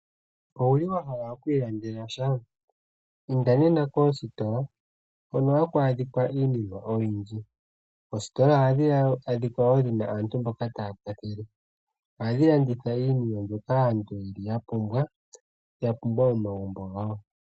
Owuli wahala okwiilandela sha inda nena koositola hono hakwaadhika iinima oyindji, oositola ohadhikala dhina aantu mboka taakwathele ohadhi landitha iipumbiwa yomomagumbo.